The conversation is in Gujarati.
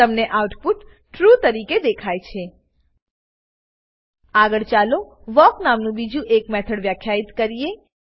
તમને આઉટપુટ ટ્રૂ તરીકે દેખાશે આગળ ચાલો વાલ્ક નામનું બીજું એક મેથડ વ્યાખ્યિત કરીએ